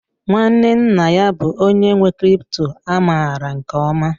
Nwanne nna ya bụ onye nwe crypto a maara nke ọma